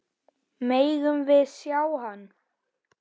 Megum við sjá hann!